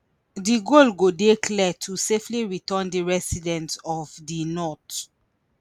di goal dey clear to safely return di residents of di north